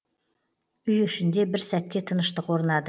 үй ішінде бір сәтке тыныштық орнады